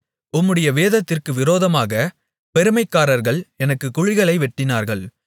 உம்முடைய வேதத்திற்கு விரோதமாக பெருமைக்காரர்கள் எனக்குக் குழிகளை வெட்டினார்கள்